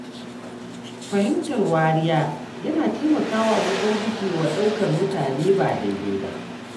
Fahimtar wariya yana taimakawa wajen gujewa ɗaukar mutane ba daidai ba.